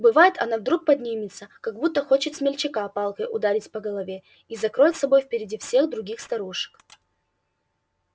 бывает одна вдруг поднимется как будто хочет смельчака палкой ударить по голове и закроет собой впереди всех других старушек